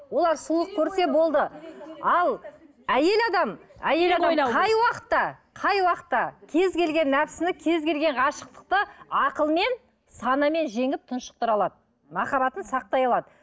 олар сұлулық көрсе болды ал әйел адам әйел адам қай уақытта қай уақытта кез келген нәпсіні кез келген ғашықтықты ақылмен санамен жеңіп тұншықтыра алады махаббатын сақтай алады